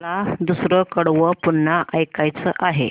मला दुसरं कडवं पुन्हा ऐकायचं आहे